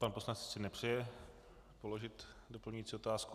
Pan poslanec si nepřeje položit doplňující otázku?